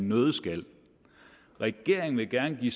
nøddeskal regeringen vil gerne give